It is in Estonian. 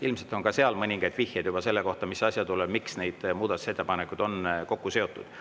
Ilmselt on ka seal mõningaid vihjeid selle kohta, miks neid muudatusettepanekuid on kokku seotud.